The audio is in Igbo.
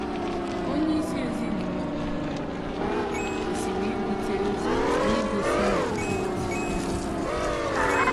Onyeisi ezinụlọ, bụ́ nna, kwesịrị ibute ụzọ n’igosi ndị ndị ọzọ ịhụnanya.